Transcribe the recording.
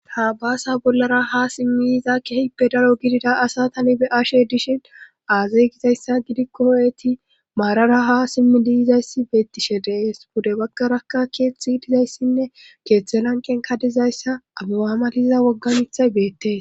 Ha baasa bollara ha simmi yiiza kehipe daro gidida asatani be ashe dishin aazey gizayssa gidikkoo,eti maarara ha simmi diyizayssi beettishe dees bude baggaraka keeththi dizayssinne keeththe lanqen kadizayssa abewaamaliza woggamithay beettee.